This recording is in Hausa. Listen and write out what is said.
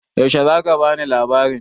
Yaushe za ka bani labarin?